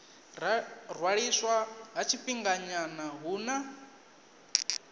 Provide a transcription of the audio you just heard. ṅwaliswa ha tshifhinganyana hu na